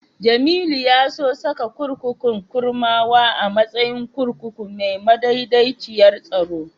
Jamilu ya so saka kurkukun Kurmawa a matsayin kurkuku mai madaidaiciyar tsaro.